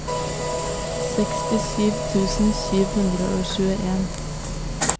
sekstisju tusen sju hundre og tjueen